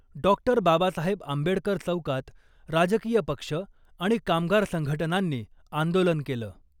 Doctor Babasaheb Ambedkar चौकात राजकीय पक्ष आणि कामगार संघटनांनी आंदोलन केलं .